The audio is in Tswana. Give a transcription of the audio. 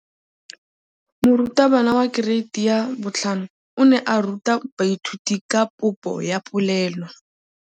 Moratabana wa kereiti ya 5 o ne a ruta baithuti ka popô ya polelô.